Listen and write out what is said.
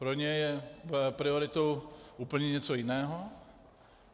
Pro ně je prioritou úplně něco jiného.